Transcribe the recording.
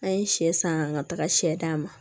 An ye sɛ san ŋa taga sɛ d'a ma